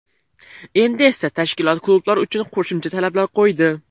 Endi esa tashkilot klublar uchun qo‘shimcha talablar qo‘ydi.